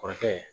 Kɔrɔkɛ